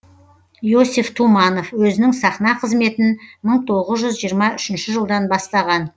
иосиф туманов өзінің сахна қызметін мың тоғыз жүз жиырма үшінші жылдан бастаған